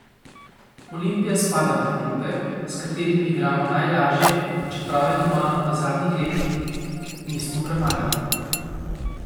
Olimpija spada med klube, s katerimi igramo najlažje, čeprav je doma v zadnjih letih nismo premagali.